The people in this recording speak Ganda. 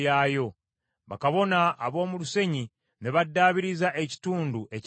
Bakabona ab’omu lusenyi ne baddaabiriza ekitundu ekyaddirira.